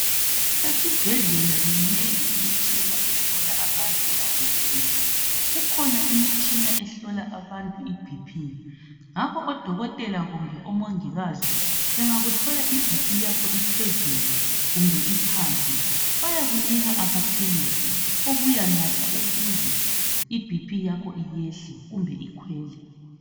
Esibhedlela minengi imitshina ehlola abantu nxa begula. Kukhona imitshina ehlola abantu iBP ngakho odokotela kumbe omongikazi bengakuthola iBP yakho iphezulu kumbe iphansi bayakunika amaphilizi wokuyanatha ukuthi iBP yakho iyehle kumbe ikhwele.